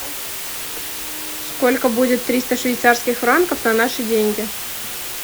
сколько будет триста швейцарских франков на наши деньги